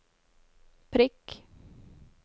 prikk